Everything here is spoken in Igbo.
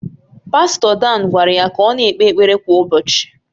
Pastọ Dan gwara ya ka ọ na-ekpe ekpere kwa ụbọchị